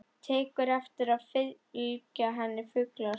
Tekur eftir að það fylgja henni fuglar.